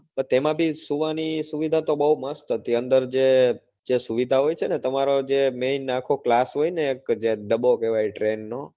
તો તેમાં બી સુવાની સુવિધા તો બહુ મસ્ત હતી અંદર જે જે સુવિધા હોય છે ને જે તમારો જે main આખો class હોય ને એક કે જે ડબ્બો કેવાય જે train નો